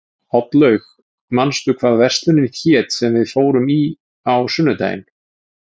Oddlaug, manstu hvað verslunin hét sem við fórum í á sunnudaginn?